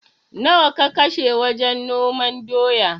Nawa ka kashe wajen noman doya?